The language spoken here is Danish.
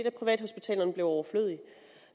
at privathospitalerne blev overflødige